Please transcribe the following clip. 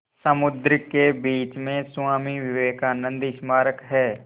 समुद्र के बीच में स्वामी विवेकानंद स्मारक है